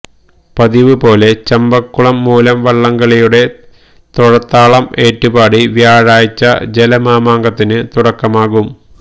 പതിവുപോലെ ചമ്പക്കുളം മൂലം വള്ളംകളിയുടെ തൊഴത്താളം ഏറ്റുപാടി വ്യാഴാഴ്ച ജലമാമാങ്കത്തിനു തുടക്കമാകും